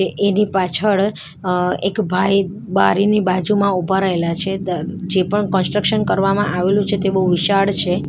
એની પાછળ અ એક ભાઈ બારીની બાજુમાં ઉભા રહેલા છે દ જે પણ કન્સ્ટ્રક્શન કરવામાં આવેલું છે તે બહુ વિશાળ છે.